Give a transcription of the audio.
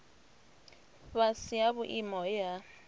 fhasi ha vhuimo he ha